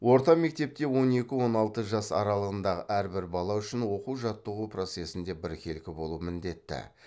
орта мектепте он екі он алты жас аралығындағы әрбір бала үшін оқу жаттығу процесінде біркелкі болу міндетті